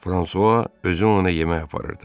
Fransua özü ona yemək aparırdı.